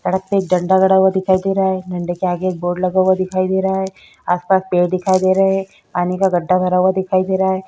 सड़क पे एक झंडा गड़ा दिखाई दे रहा है झंडे के आगे एक बोर्ड लगा दिखाई दे रहा है आस-पास पेड़ दिखाई दे रहे है पानी का गढ़ा भरा हुआ दिखाई दे रहा है।